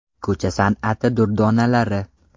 Ko‘cha san’ati durdonalari.